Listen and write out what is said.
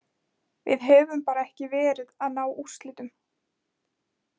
Við höfum bara ekki verið að ná úrslitum.